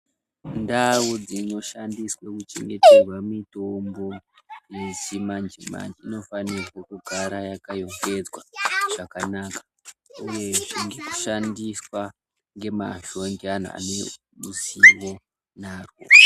Ndau dzinoshandiswe kuchengetwerwe mitombo yechimanjemanje inofanire kugara yakarongedzwa zvakanaka uye ichishandiswa ngemazvo ngeanhu ane ruzivo nazvo.